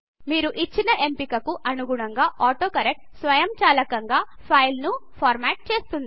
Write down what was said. మీరు ఇచ్చిన ఎంపిక కు అనుగుణంగా ఆటోకరెక్ట్ స్వయంచాలకంగా ఫైల్ ను ఫార్మ్యాట్ చేస్తుంది